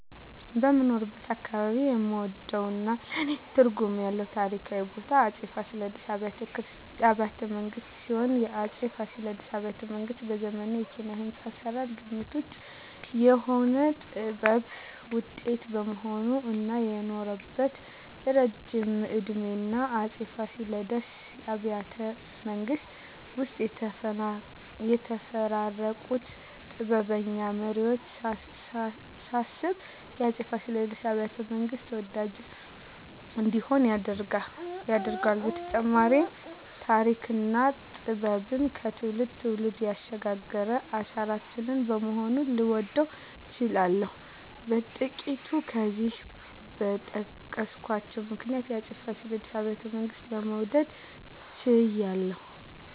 በምኖርበት አካባባቢ የምወደውና ለኔ ትርጉም ያለው ታሪካዊ ቦታ የአፄ ፋሲለደስ አብያተ ቤተመንግስት ሲሆን፣ የአፄ ፋሲለደስ አብያተ ቤተመንግስት በዘመኑ የኪነ-ህንጻ አሰራር ግምት ውጭ የሆነ የጥበብ ውጤት በመሆኑ እና የኖረበት እረጅም እድሜና የአፄ ፋሲለደስ አብያተ ቤተመንግስት ውስጥ የተፈራረቁትን ጥበበኛ መሪወች ሳስብ የአፄ ፋሲለደስ አብያተ- መንግስት ተወዳጅ እንዲሆን ያደርገዋል በተጨማሪም ተሪክና ጥበብን ከትውልድ ትውልድ ያሸጋገረ አሻራችን በመሆኑ ልወደው ችያለሁ። በጥቅሉ ከላይ በጠቀስኳቸው ምክንያቶች የአፄ ፋሲለደስ አብያተ ቤተመንግስትን ለመውደድ ችያለሁ